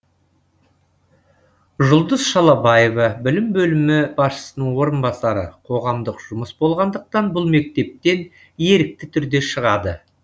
жұлдыз шалабаева білім бөлімі басшысының орынбасары қоғамдық жұмыс болғандықтан бұл мектептен ерікті түрде шығады